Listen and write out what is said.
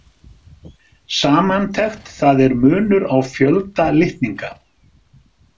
Samantekt Það er munur á fjölda litninga.